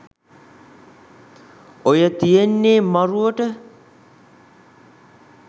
ඔය තියෙන්නේ මරුවට